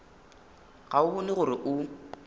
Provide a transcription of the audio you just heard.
ga o bone gore o